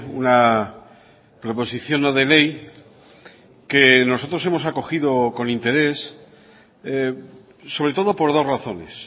una proposición no de ley que nosotros hemos acogido con interés sobre todo por dos razones